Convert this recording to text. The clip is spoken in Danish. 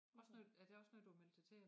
Også noget er det også noget du har meldt dig til?